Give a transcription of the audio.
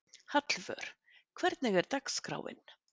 Hallvör, hvernig er dagskráin?